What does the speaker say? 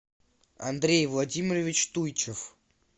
андрей владимирович туйчиев